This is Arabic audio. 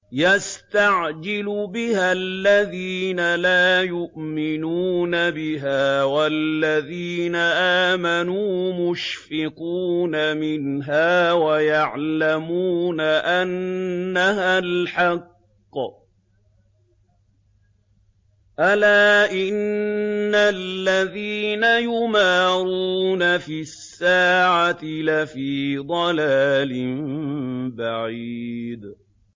يَسْتَعْجِلُ بِهَا الَّذِينَ لَا يُؤْمِنُونَ بِهَا ۖ وَالَّذِينَ آمَنُوا مُشْفِقُونَ مِنْهَا وَيَعْلَمُونَ أَنَّهَا الْحَقُّ ۗ أَلَا إِنَّ الَّذِينَ يُمَارُونَ فِي السَّاعَةِ لَفِي ضَلَالٍ بَعِيدٍ